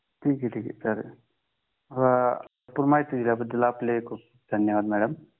हा ठीक आहे ठीक आहे चालेल माहिती दिल्याबद्दल खूप खूप धन्यवाद मॅडम